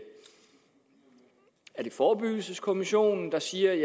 forebyggelseskommissionen der siger at